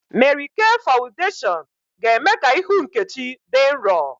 Mary K fawudeshiọn ga-eme ka ihu Nkechi dị nrọ